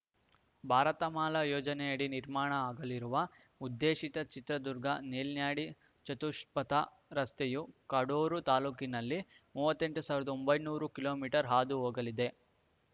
ಭಾರತಮಾಲಾ ಯೋಜನೆಯಡಿ ನಿರ್ಮಾಣ ಆಗಲಿರುವ ಉದ್ದೇಶಿತ ಚಿತ್ರದುರ್ಗ ನೆಲ್ಯಾಡಿ ಚತುಷ್ಪಥ ರಸ್ತೆಯು ಕಡೂರು ತಾಲೂಕಿನಲ್ಲಿ ಮೂವತ್ತೆಂಟು ಒಂಬೈನೂರು ಹಾದು ಹೋಗಲಿದೆ